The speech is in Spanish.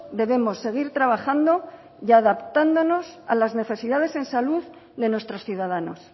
debemos seguir trabajando y adaptándonos a las necesidades en salud de nuestros ciudadanos